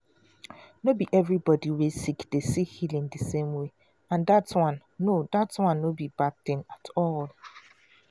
no be everybody wey sick dey see healing the same way and that one no that one no be bad thing at all.